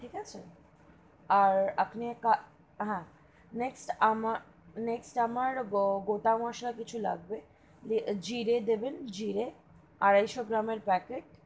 আর আপনি এক কাজ, হা next next আমার গোটা মসলা কিছু লাগবে, জিরে দেবেন জিরে আড়াইশো গ্রামের packet,